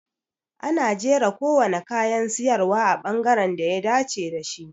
Ana jera kowane kayan siyarwa a bangaren da ya dace da shi.